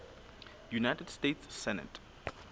united states senate